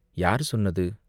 யார் சொன்னது?